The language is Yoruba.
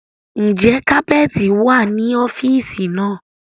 Ń jẹ́ kapẹ́ẹ́tì wá ní ọ́fíìsì náà?